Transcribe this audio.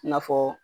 I n'a fɔ